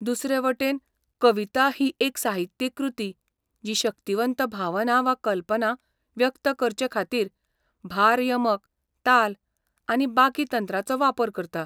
दुसरेवटेन, कविता ही एक साहित्यीक कृती जी शक्तीवंत भावना वा कल्पना व्यक्त करचेखातीरभार यमक, ताल, आनी बाकी तंत्रांचो वापर करता.